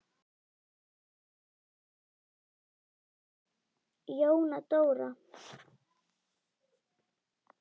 Jóna Dóra.